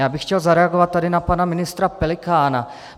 Já bych chtěl zareagovat tady na pana ministra Pelikána.